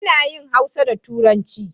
Ina yin Hausa da turanci